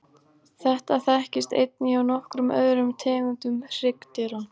Þetta þekkist einnig hjá nokkrum öðrum tegundum hryggdýra.